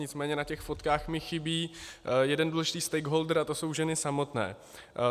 Nicméně na těch fotkách mi chybí jeden důležitý stakeholder, a to jsou ženy samotné.